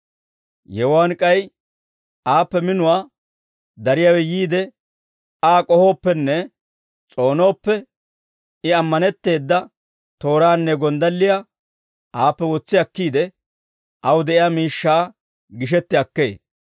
Yewuwaan k'ay aappe minuwaa dariyaawe yiide Aa k'ohooppenne s'oonooppe I ammanetteeda tooraanne gonddalliyaa aappe wotsi akkiide, aw de'iyaa miishshaa gishetti akkee.